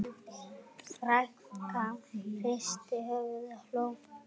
Frænkan hristi höfuðið og hló.